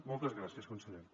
moltes gràcies conseller